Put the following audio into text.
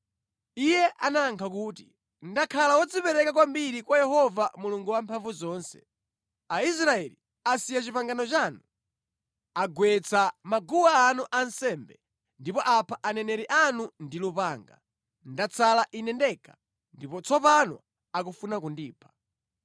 Iye anayankha kuti, “Ndakhala wodzipereka kwambiri kwa Yehova Mulungu Wamphamvuzonse. Aisraeli asiya pangano lanu, agwetsa maguwa anu ansembe, ndipo apha aneneri anu ndi lupanga. Ndatsala ine ndekha ndipo tsopano akufuna kundipha.”